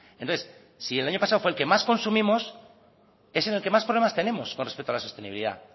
entonces si el año pasado fue el que más consumimos es en el que más problemas tenemos con respecto a la sostenibilidad